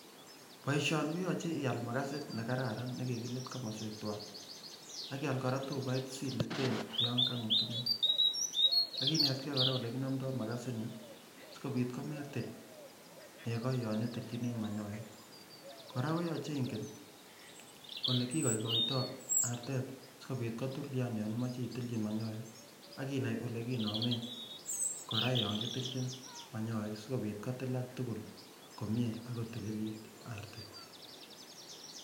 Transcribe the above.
Boishoni koyoche iaal makasit nekararan nekikilit komosweek twaan, ak iaal kora tubait siliten yoon ko ng'utumit, akinetkee koraa elekinomdo makasini sikobiit kometil nekoo yoon itilchini manyoek, kora koyoche ing'en olekikoikoito artet sikobiit kotulian yoon imoche itilchi manyoek, akinai olekinomen kora yoon ketilchin manyoek sikobiit kotilak tukul komnyee AK ko tililit artet.